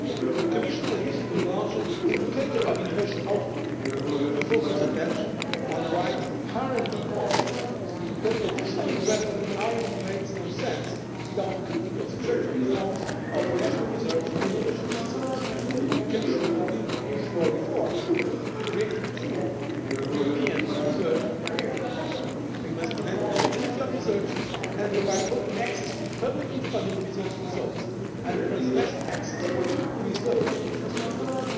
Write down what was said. The Commission has recently launched an Indicator of Innovation Output to focus attention on the right RD policies. But additional investment in RD makes no sense without critical structural reforms of national research and innovation systems. The Commission will continue to push for reforms to create a true European Research Area. We must enable the mobility of researchers and provide open access to publicly funded research results and transnational access to research infrastructures.